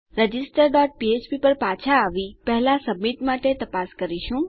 register dot ફ્ફ્પ પર પાછા આવી પહેલા સબમિટ માટે તપાસ કરીશું